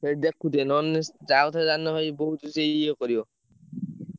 ସେଇଠି ଦେଖୁଥିବେ ନହେଲେ ସିଏ ଯାଉଥିବ ଜାଣିନ ଭାଇ ବହୁତ୍ ସିଏ ଇଏ କରିବ।